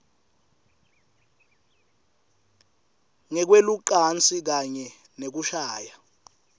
ngekwelucansi kanye nekushaya